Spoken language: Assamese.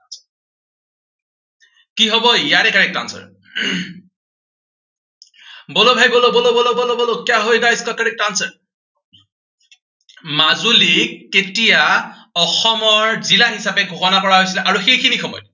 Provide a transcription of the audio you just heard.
কি হব ইয়াৰে correct answer বলৌ ভাই, বলৌ বলৌ বলৌ বলৌ, মাজুলীক কেতিয়া অসমৰ জিলা হিচাপে ঘোষণা কৰা হৈছিলে আৰু সেইখিনি সময়ত